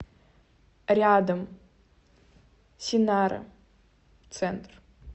рядом синара центр